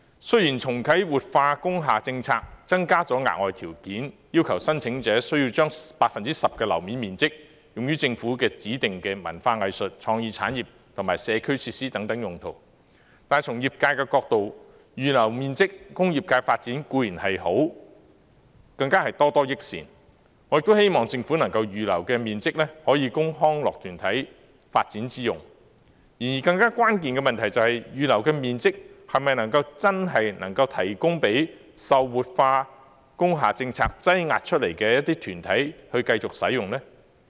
雖然重啟活化工廈政策增加了額外條件，要求申請者需要將 10% 樓面面積用於政府指定的文化藝術、創意產業和社區設施等用途，但從業界角度來看，預留面積供業界發展固然是好，更是多多益善，我亦希望政府能夠預留的面積，可供康樂團體發展之用，而更關鍵的問題是，預留的面積是否真的能夠提供給受活化工廈政策擠壓出來的團體繼續使用？